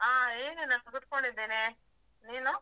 ಹಾ ಏನಿಲ್ಲ, ಕೂತ್ಕೊಂಡಿದ್ದೇನೆ ನೀನು?